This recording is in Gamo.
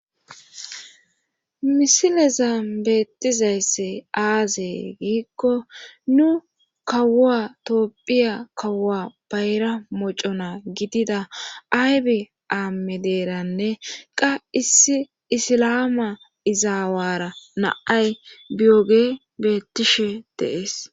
misileza beettizaysse aazey giikko nu kawua toopphiya kawua bayra mocona gidida aybi aame deeranne qa issi isilaama izaawara naay biyoge beettishe deees